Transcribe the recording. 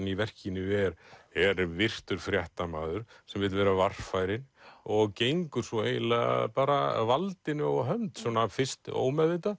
í verkinu er virtur fréttamaður sem vill vera varfærinn og gengur svo eiginlega bara valdinu á hönd svona fyrst ómeðvitað